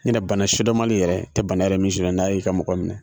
Ɲin tɛ bana sidɔmali yɛrɛ tɛ bana yɛrɛ min sidɔn n'a y'i ka mɔgɔ mina